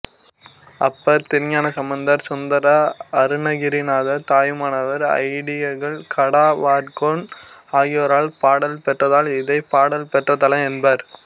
அப்பர் திருஞானசம்பந்தர் சுந்தரர் அருணகிரிநாதர் தாயுமானவர் ஐயடிகள் காடவர்கோன் ஆகியோரால் பாடல் பெற்றதால் இதைப் பாடல் பெற்ற தலம் என்பர்